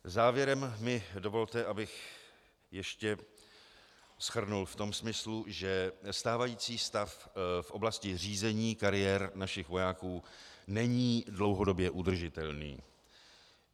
Závěrem mi dovolte, abych ještě shrnul v tom smyslu, že stávající stav v oblasti řízení kariér našich vojáků není dlouhodobě udržitelný.